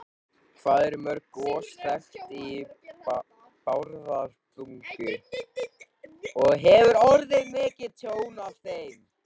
Hvað eru mörg gos þekkt í Bárðarbungu og hefur orðið mikið tjón af þeim?